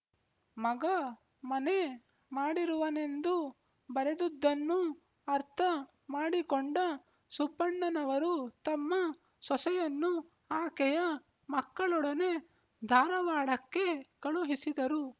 ಮಗ ಮನೆ ಮಾಡಿರುವನೆಂದು ಬರೆದುದನ್ನು ಅರ್ಥ ಮಾಡಿಕೊಂಡ ಸುಬ್ಬಣ್ಣನವರು ತಮ್ಮ ಸೊಸೆಯನ್ನು ಆಕೆಯ ಮಕ್ಕಳೊಡನೆ ಧಾರವಾಡಕ್ಕೆ ಕಳುಹಿಸಿದರು